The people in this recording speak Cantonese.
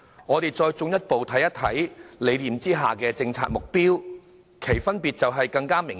我們再進一步看看理念下的政策目標，兩者分別便更加明顯。